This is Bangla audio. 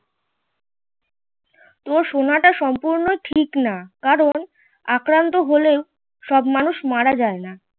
এই সময়টা সম্পূর্ণ ঠিক না কারণ আক্রান্ত হলেও সব মানুষ মারা যায় না।